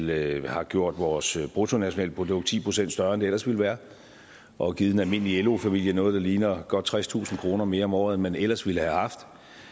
vel har gjort vores bruttonationalprodukt ti procent større end det ellers ville være og givet den almindelige lo familie noget der ligner godt tredstusind kroner mere om året end man ellers ville have haft